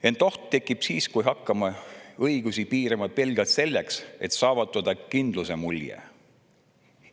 Ent oht tekib siis, kui hakkame õigusi piirama pelgalt selleks, et saavutada kindluse mulje.